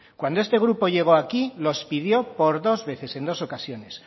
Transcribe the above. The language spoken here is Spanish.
cuando este grupo llego aquí los pidió por dos veces en dos ocasiones